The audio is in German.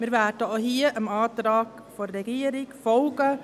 Wir werden auch hier dem Antrag der Regierung folgen: